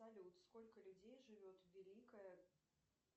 салют сколько людей живет в великой